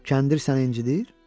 Kəndir səni incidir?